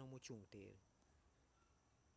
dhano mochung' tir